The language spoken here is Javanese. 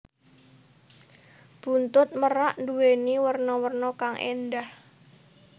Buntut merak nduwèni werna werna kang éndah